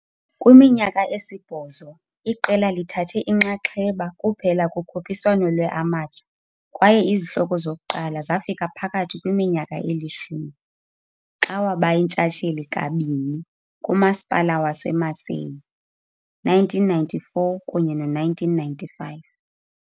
Kwiminyaka esibhozo, iqela lithathe inxaxheba kuphela kukhuphiswano lwe-amateur kwaye izihloko zokuqala zafika phakathi kwiminyaka elishumi, xa waba yintshatsheli kabini kumasipala waseMacaé, 1994 kunye no-1995.